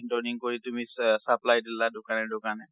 কৰি তুমি চা~ supply দিলা দোকানে দোকানে।